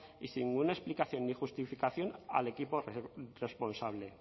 y sin ninguna explicación ni justificación al equipo responsable